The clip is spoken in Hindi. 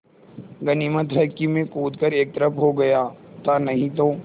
गनीमत है मैं कूद कर एक तरफ़ को हो गया था नहीं तो